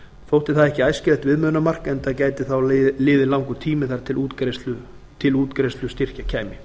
þótti það ekki æskilegt viðmiðunarmark enda gæti þá liðið langur tími þar til til útgreiðslu styrkja kæmi